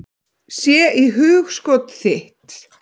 Sé í hugskot þitt.